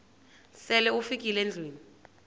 sele ufikile endlwini